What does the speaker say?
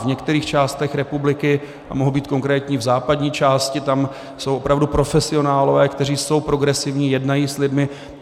V některých částech republiky, a mohu být konkrétní, v západní části, tam jsou opravdu profesionálové, kteří jsou progresivní, jednají s lidmi.